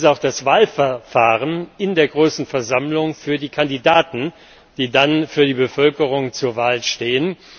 Wie ist das Wahlverfahren in der großen Versammlung für die Kandidaten, die dann für die Bevölkerung zur Wahl stehen?